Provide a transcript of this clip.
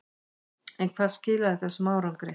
En hvað skilaði þessum árangri?